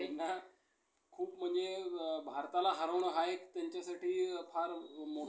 आता पेटवू सारे रात' म्हणणारा, स्त्रियांची स्त्रियांची गाणी, लोकगीते